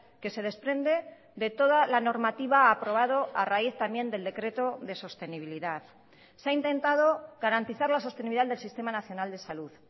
que se desprende de toda la normativa aprobado a raíz también del decreto de sostenibilidad se ha intentado garantizar la sostenibilidad del sistema nacional de salud